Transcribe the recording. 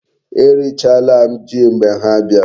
E richala m Ji mgbe ha biara